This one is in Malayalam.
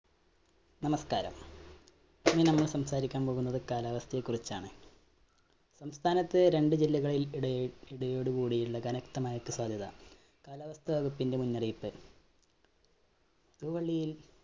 നമസ്കാരം, ഇന്ന് നമ്മള്‍ സംസാരിക്കാന്‍ പോകുന്നത് കാലാവസ്ഥയെ കുറിച്ചാണ്. സംസ്ഥാനത്ത് രണ്ട് ജില്ലകളില്‍ ഇടയില്‍, ഇടിയോടു കൂടിയുള്ള കനത്ത മഴക്ക് സാധ്യത. കാലാവസ്ഥ വകുപ്പിന്റെ മുന്നറിയിപ്പ്. തൂവള്ളിയില്‍